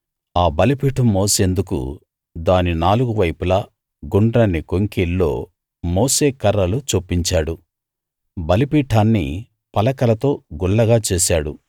ఆ బలిపీఠం మోసేందుకు దాని నాలుగు వైపులా గుండ్రని కొంకీల్లో మోసే కర్రలు చొప్పించాడు బలిపీఠాన్ని పలకలతో గుల్లగా చేశాడు